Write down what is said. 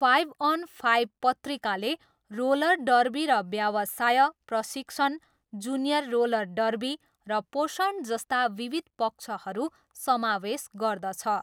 Five on five पत्रिकाले roller derby र व्यवसाय, प्रशिक्षण, जुनियर रोलर डर्बी र पोषण जस्ता विविध पक्षहरू समावेश गर्दछ।